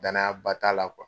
Danaya ba t'a la kuwa.